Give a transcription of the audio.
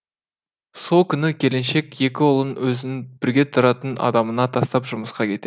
сол күні келіншек екі ұлын өзінің бірге тұратын адамына тастап жұмысқа кетеді